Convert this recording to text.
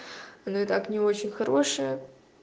ну и так не очень хорошая